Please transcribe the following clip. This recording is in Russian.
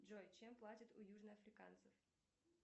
джой чем платят у южноафриканцев